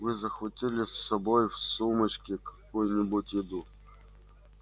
вы захватили с собой в сумочке какую-нибудь еду